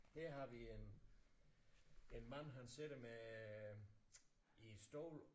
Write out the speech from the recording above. Her har vi en en mand han sidder med i en stol